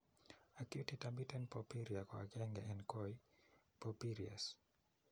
Acute intermittent porphyria ko agenge en kooy porphyrias.